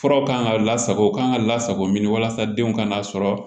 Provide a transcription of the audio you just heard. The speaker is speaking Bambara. Furaw kan ka lasago ka kan ka lasago min walasa denw ka n'a sɔrɔ